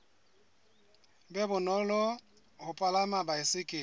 be bonolo ho palama baesekele